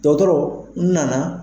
Dɔgɔtɔrɔ n nana.